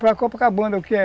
Para Copacabana, o que é?